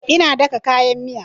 Ina daka kayan miyan